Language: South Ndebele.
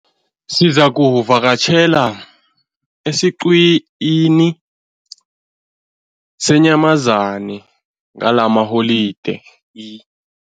Sizakuvakatjhela esiqhiwini seenyamazana ngalamaholideyi.